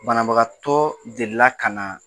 Banabagatɔ delila ka na